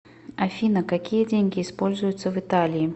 афина какие деньги используются в италии